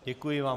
Děkuji vám.